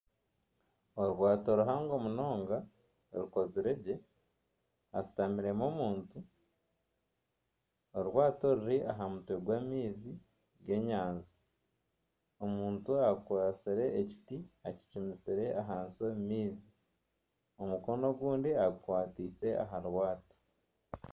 Orwato ruhango munonga rukozirwe gye hashutamiremu omuntu orwato ruri aha mutwe gw'amaizi g'enyanja omuntu akwatsire emiti akicumitsire ahansi omu maizi omukono ogundi agikwatiise aha rwato.